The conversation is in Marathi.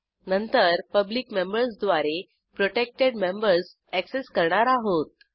नंतर पब्लिक मेंबर्सद्वारे प्रोटेक्टेड मेंबर्स अॅक्सेस करणार आहोत